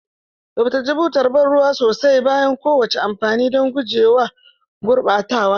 Tsaftace butar ban ruwa sosai bayan kowane amfani don guje wa gurɓatawa.